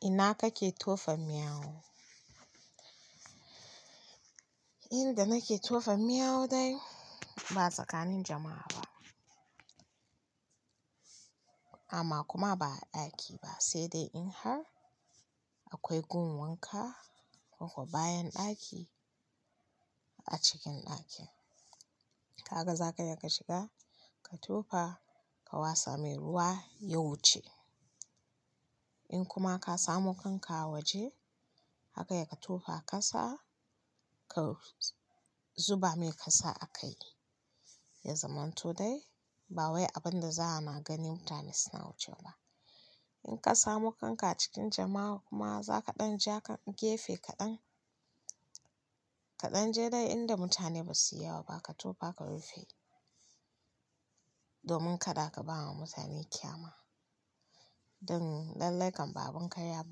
Ina kake tofa miyau? Inda nake tofa miyau dai ba tsakanin jama'a ba amma kuma ba a ɗaki ba, sai dai in har akwai gun wanka ko ko bayan ɗaki a cikin ɗakin. Ka gaza ka iya ka shiga, ka tofa, ka wasa mai ruwa ya wuce. In kuma ka samu kanka a waje, haka ya ka tofa kasa, ka zuba mai kasa a kai. Yanzaman to dai ba wai abun da za a ganin mutane suna wucewa ba. In ka samu kanka a cikin jama'a kuma za ka ɗan ja ka gefe kaɗan, ka ɗan je dai inda mutane ba su yi yawa ba, ka tofa ka rufe domin kada ka bawa mutane kyama. Don lallai kam ba abun karya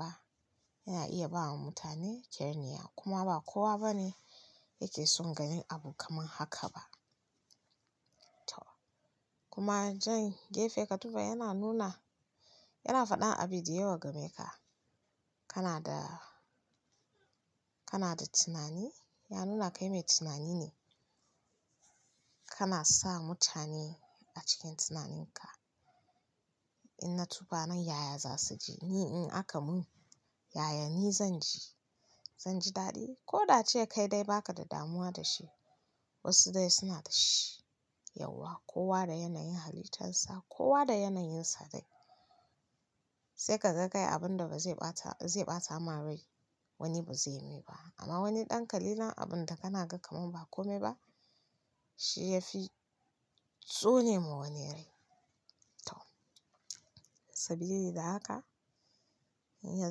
ba yana iya bawa mutane kyanya kuma ba kowa bane yake son ganin abu kaman haka ba. To kuma jan gefe ka tofa yana nuna, yana faɗa abi de yawa gameka. Kana da, kana da tunani, ya nuna kai mai tunani ne. Kana sa mutane a cikin tunaninka. In na tofa nan, yaya za su ji? Ni in aka mun, yaya ni zan ji? Zan ji daɗi ko da cewa kai dai ba ka da damuwa da shi. Wasu dai suna da shi yauwa. Kowa da yanayin halittarsa, kowa da yanayinsa dai. Sai ka ga kai abun da ba zai ɓata, zai ɓata ma rai wani ba zai yi mai ba amma wani ɗan kalilan abun da kana ga kaman ba kome ba shi ya fi tsone ma wani rai. To sabili da haka, in ya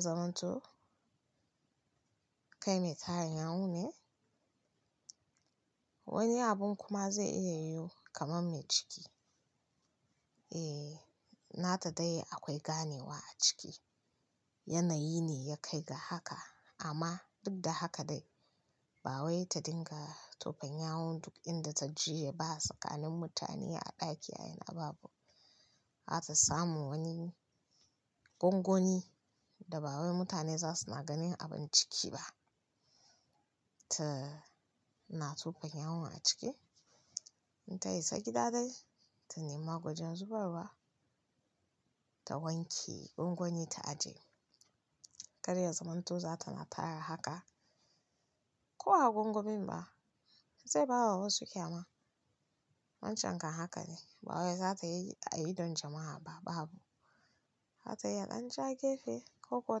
zamanto kai mai tarin yawu ne. Wani abun kuma zai iya yu kaman mai ciki. Eh, nata dai akwai ganewa a ciki. Yanayi ne ya kai ga haka amma duk da haka dai ba wai ta dinga tofan yawun duk inda ta je ba. Tsakanin mutane a ɗaki ayena babu. Hata samu wani gongoni da ba wai mutane za suna ganin abun ciki ba. Ta na tofan yawun a ciki. In ta isa gida dai ta nema geajan zubarwa ta wanke gwangwani ta aje. Kada ya zamanto za ta na tara haka ko a gwangwamin ba zai bawa wasu ƙyama. Wancan kam haka ne. Ba wai za ta yi a idon jama'a ba babu. Hata ya ɗan ja gefe ko kowa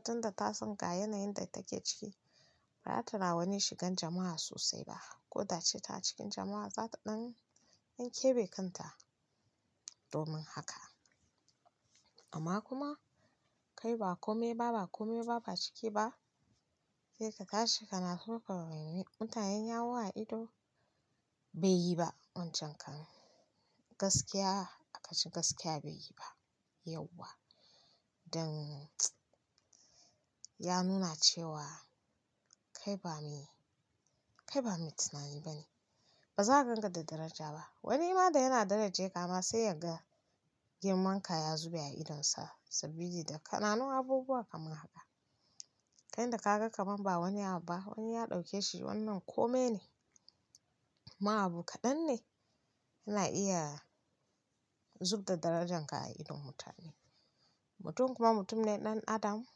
tun da ta san ga yanayin da take ciki ba ra ta ra wani shigan jama'a sosai ba ko da ce ta a cikin jama'a za ta ɗan yanke bekanta domin haka. Amma kuma kai ba kome ba, ba kome ba, ba ciki ba sai ka tashi kana tofa wa mutanen yawu a ido bai yi ba wancan kam. Gaskiya a kashi gaskiya bai yi ba yauwa don ya nuna cewa kai ba mai, kai ba mai tunani bane. Ba za ganka da daraja ba. Wani ma da yana darajeka ma sai ya ga girman ka ya zube a idonsa sabili da kana nun abubuwa kaman haka. Kai inda kaga kaman ba wani abu ba wani ya ɗauke shi wannan kome ne, ma abu kaɗan ne na iya zub da darajanka a idon mutane. Mutum kuma mutum ne ɗan adam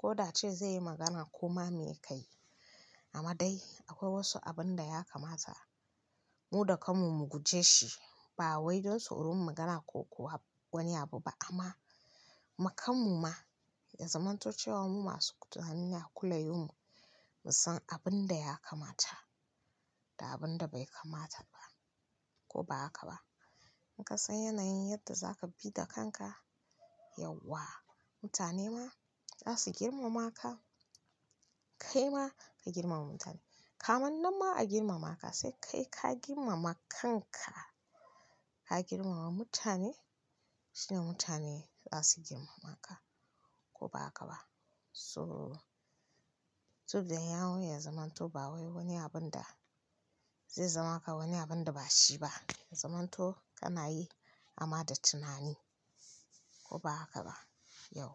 ko da cewa ze yi magana koma me kayi amma dai akwai wasu abun da ya kamata mu dakan mu guje shi ba wai don tsoron magana ko kuwa wani abu ba amma makanmu ma ya zamanto cewa mu masu tunani ne kulayo mu, mu san abun da ya kamata da abin da bai kamata ba ko ba haka ba. In ka san yanayin yadda za ka bi da kanka, yauwa mutane ma za su girmama ka. Kai ma ka girmama mutane. Kaman nan ma a girmama ka sai kai ka girmama kanka ka girmama mutane shine mutane za su girmama ka ko ba haka ba. So, sobdan yawu ya zamanto ba wai wani abun da zai zamaka wani abun da ba shi ba. Ya zaman to kana yi amma da tunani ko ba haka ba yauwa.